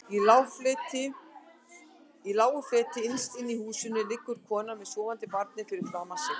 Í lágu fleti innst inni í húsinu liggur konan með sofandi barnið fyrir framan sig.